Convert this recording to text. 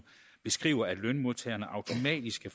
beskriver at lønmodtagerne automatisk